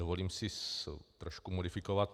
Dovolím si trošku modifikovat.